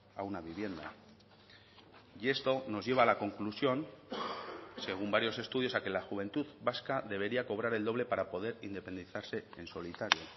a una vivienda y esto nos lleva a la conclusión según varios estudios a que la juventud vasca debería cobrar el doble para poder independizarse en solitario